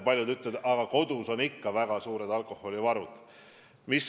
Paljud küll ütlevad, et kodus on inimestel ikka väga suured alkoholivarud.